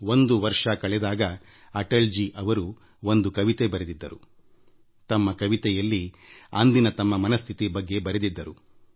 ಒಂದು ವರ್ಷದ ತುರ್ತು ಸ್ಥಿತಿಯ ತರುವಾಯ ಅಟಲ್ ಜೀ ಅವರು ಒಂದು ಕವನ ಬರೆದಿದ್ದರು ಅದರಲ್ಲಿ ಆ ಸಂದಿಗ್ಧ ಕಾಲದ ಮನಸ್ಥಿತಿಯನ್ನು ವರ್ಣಿಸಿದ್ದರು